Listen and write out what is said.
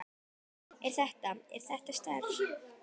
Er þetta. er þetta sterkt?